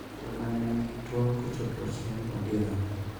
Joma ne nigi tuo kochopo chieng` odira